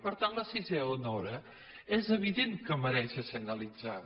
per tant la sisena hora és evident que mereix ser analitzada